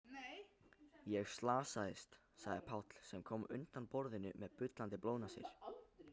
Ég slasaðist, sagði Páll sem kom undan borðinu með bullandi blóðnasir.